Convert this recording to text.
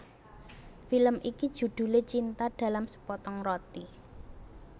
Film iki judhulé Cinta dalam Sepotong Roti